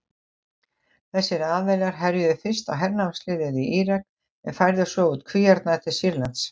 Þessir aðilar herjuðu fyrst á hernámsliðið í Írak en færðu svo út kvíarnar til Sýrlands.